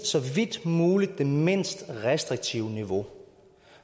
så vidt muligt er det mindst restriktive niveau